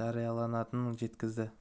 жариялайтынын жеткізді